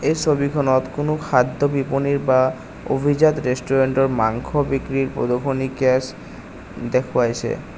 এই ছবিখনত কোনো খাদ্য বিপণীৰ বা অভিজাত ৰেষ্টোৰেণ্টৰ মাংস বিক্ৰীৰ প্ৰদৰ্শনী দেখুৱাইছে।